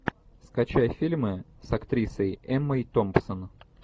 скачай фильмы с актрисой эммой томпсон